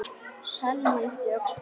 Selma yppti öxlum.